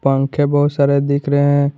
पंखे बहुत सारे दिख रहे हैं।